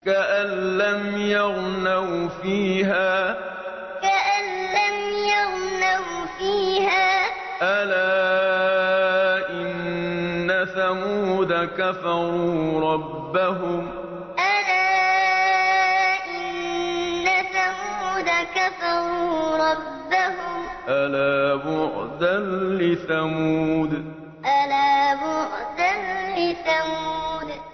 كَأَن لَّمْ يَغْنَوْا فِيهَا ۗ أَلَا إِنَّ ثَمُودَ كَفَرُوا رَبَّهُمْ ۗ أَلَا بُعْدًا لِّثَمُودَ كَأَن لَّمْ يَغْنَوْا فِيهَا ۗ أَلَا إِنَّ ثَمُودَ كَفَرُوا رَبَّهُمْ ۗ أَلَا بُعْدًا لِّثَمُودَ